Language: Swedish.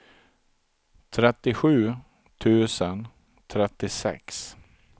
trettiosju tusen trettiosex